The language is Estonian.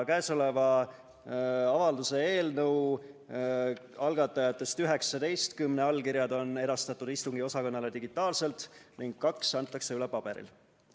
Käesoleva avalduse eelnõu algatajatest 19 allkirjad on edastatud istungiosakonnale digitaalselt ning kaks antakse üle paberil.